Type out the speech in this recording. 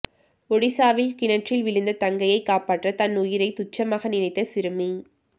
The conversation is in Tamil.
ஒடிசாவில் கிணற்றில் விழுந்த தங்கையை காப்பாற்ற தன்னுயிரை துச்சமாக நினைத்த சிறுமி